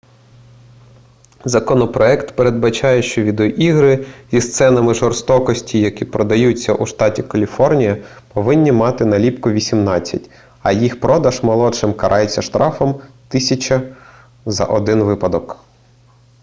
законопроект передбачає що відеоігри зі сценами жорстокості які продаються у штаті каліфорнія повинні мати наліпку 18 а їх продаж молодшим карається штрафом 1000 за один випадок